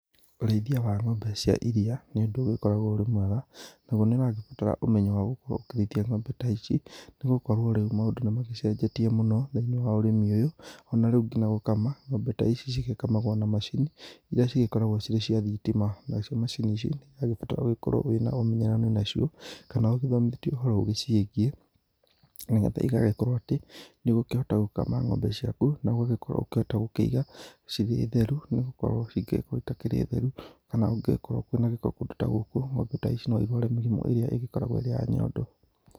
Ũrĩithia wa ng'ombe cia iria, nĩ ũndũ ũgĩkoragwo ũrĩ mwega, nagwo nĩ ũragĩbatara ũmenyo wa gũkorwo ũkĩrĩithia ng'ombe ta ici, nĩ gũkorwo rĩu maũndũ nĩ magĩcenjetie mũno thĩiniĩ wa ũrĩmi-nĩ ũyũ, ona rĩu nginya gũkama ng'ombe ta ici, cĩgĩkamagwo na macini irĩa cigĩkoragwo cĩrĩ cia thitima, na cio macini ici nĩirabatara ũkorwo wĩna ũmenyeranu nacio kana ũgĩthomithĩtio ũhoro ũgĩciĩgiĩ, nĩgetha ĩgagĩkorwo atĩ, nĩũgũkĩhota gũkama ng'ombe ciaku na ũgakorwo gũkĩiga cĩrĩ theru nĩgũkorwo cingĩgĩkorwo cĩtarĩ theru kana kũngĩkorwo kwĩ na gĩko kũndũ ta gũkũ, ng'ombe ta ici no cirware mĩrĩmũ ĩrĩa ĩkoragwo ĩ ya nyondo.